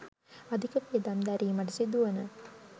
අධික වියදම් දැරීමට සිදුවන